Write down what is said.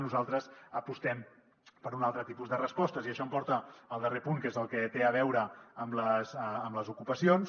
nosaltres apostem per un altre tipus de respostes i això em porta al darrer punt que és el que té a veure amb les ocupacions